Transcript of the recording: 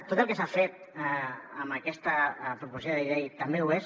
tot el que s’ha fet amb aquesta proposició de llei també ho és